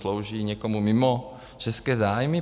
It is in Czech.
Slouží někomu mimo české zájmy?